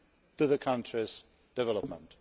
to the country's development.